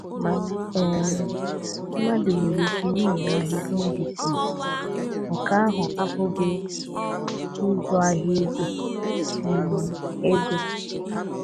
Mana um mmadụ nwere ike na-ere ahịa indisiisi, nke ahụ abụghị ịzụ ahịa ego um ego.